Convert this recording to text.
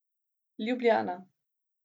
Ljubljana.